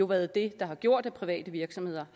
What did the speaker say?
været det der har gjort er private virksomheder